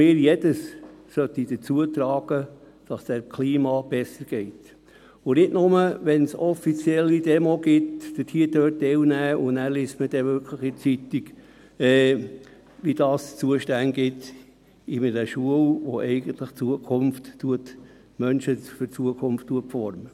Jeder sollte dazu beitragen, dass es dem Klima besser geht und nicht nur dann teilnehmen, wenn es offiziell eine Demo gibt, wobei man danach in der Zeitung liest, zu welchen Zustände das führt, in einer Schule, die eigentlich die Menschen für die Zukunft formt.